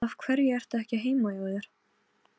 Sagði margt sem ég sá svo eftir.